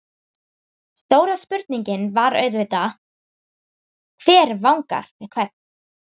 Stóra spurningin var auðvitað: Hver vangar við hvern?